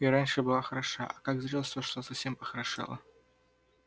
и раньше-то была хороша а как в зрелость вошла совсем похорошела